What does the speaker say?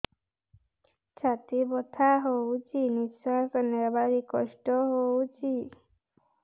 ଛାତି ବଥା ହଉଚି ନିଶ୍ୱାସ ନେବାରେ କଷ୍ଟ ହଉଚି